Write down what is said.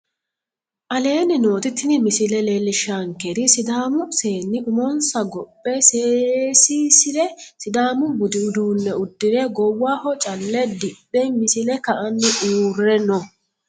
Aleenni nooti tini misile leellishaankeri sidaamu seenni umonssa gophe seesiissire sidaamu budi uduunne udire goowaho calle ddhdhe misile ka'anni uureno